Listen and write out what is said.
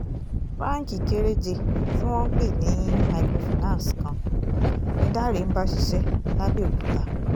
báńkì kéréje tí wọ́n ń pè ní micro finance kan ni dáre ń bá ṣiṣẹ́ làbẹ̀òkúta